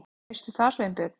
Veistu hvað, Sveinbjörn?